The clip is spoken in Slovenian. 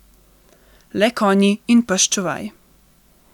Le konji in pes čuvaj.